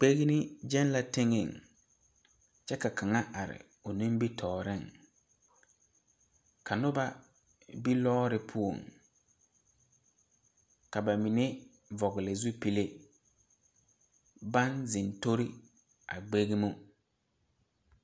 Gbeni gyɛŋ la teŋe, kyɛ ka kaŋa are o nimitɔreŋ, ka noba be lɔɔre poɔ, ka ba mine vɔgeli zupule baŋ zeŋ tori a gbenno.